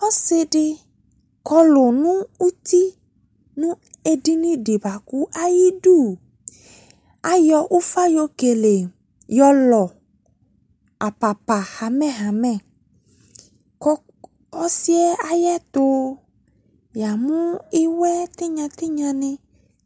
Ɔsede kɔlu no uti no edini de boako ayidu ayɔ ufa yɔ kele, yɔ lu apapa hamɛhamɛ ko ɔsiɛ ayeto yamu iwɛ tenya tenya ne